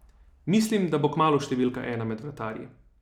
Mislim, da bo kmalu številka ena med vratarji.